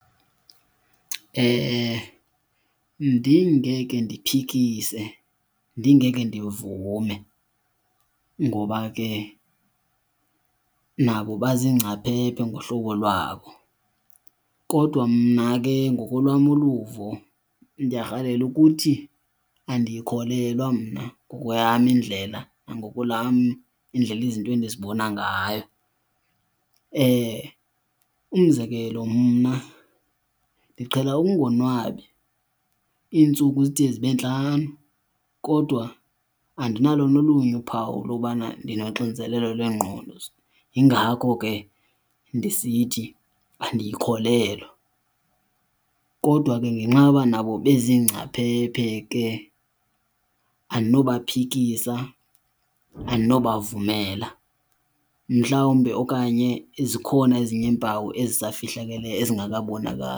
Ndingeke ndiphikise, ndingeke ndivume ngoba ke nabo baziingcaphephe ngohlobo lwabo. Kodwa mna ke ngokolwam uluvo ndiyarhalela ukuthi andiyikholelwa mna ngokweyam indlela nangokwelam indlela izinto endizibona ngayo. Umzekelo mna ndiqhela ukungonwabi iintsuku zide zibe ntlanu kodwa andinalo nolunye uphawu lokubana ndinoxinzelelo lwengqondo, yingako ke ndisithi andiyikholelwa. Kodwa ke ngenxa yoba nabo bezingcaphephe ke andinobaphikisa andinobavumela. Mhlawumbi okanye zikhona ezinye iimpawu ezisafihlakeleyo ezingakabonakali.